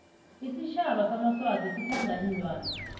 isitjhaba samaswati sithanda iinlwana